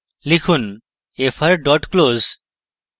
লিখুন fr dot close